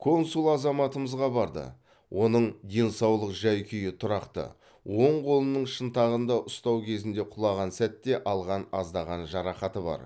консул азаматымызға барды оның денсаулық жай күйі тұрақты оң қолының шынтағында ұстау кезінде құлаған сәтте алған аздаған жарақаты бар